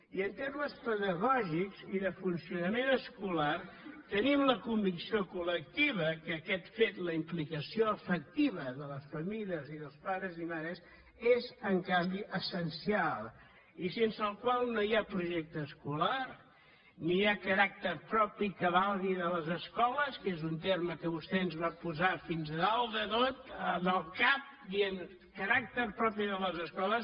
i en termes pedagògics i de funcionament escolar tenim la convicció col·lectiva que aquest fet la implicació efectiva de les famílies dels pares i mares és en canvi essencial i sense la qual no hi ha projecte escolar ni hi ha caràcter propi que valgui de les escoles que és un terme que vostè ens va posar fins a dalt de tot del cap dient caràcter propi de les escoles